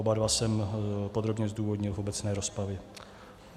Oba dva jsem podrobně zdůvodnil v obecné rozpravě.